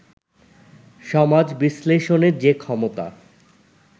সমাজ-বিশ্লেষণের যে ক্ষমতা